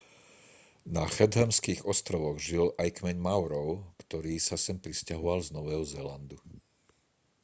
na chathamských ostrovoch žil aj kmeň maorov ktorí sa sem prisťahovali z nového zélandu